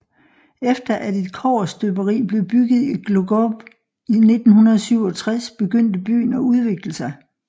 Efter at et kobberstøberi blev bygget i Głogów i 1967 begyndte byen at udvikle sig